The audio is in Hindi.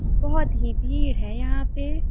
बहोत ही भीड़ है यहाँ पे ।